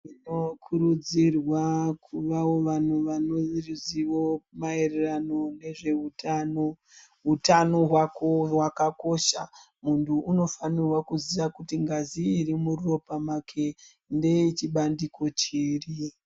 Tinokurudzirwa kuvawo vanhu vane ruzivo maererano nezvehutano. Hutano hwako hwakakosha muntu unofanirwa kuziya kuti ngazi iri muropa make ngechibandiko chiri.